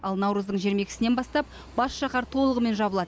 ал наурыздың жиырма екісінен бастап бас шаһар толығымен жабылады